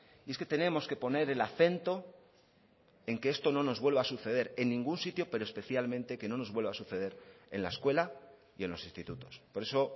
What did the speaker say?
y es que tenemos que poner el acento en que esto no nos vuelva a suceder en ningún sitio pero especialmente que no nos vuelva a suceder en la escuela y en los institutos por eso